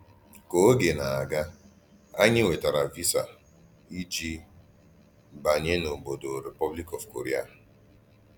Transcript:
Kà ògé na-aga, ànyí nwètàrà vísà íjì bànyè n’òbòdò Rèpublic of Kòrèà.